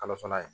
Kalo fana ye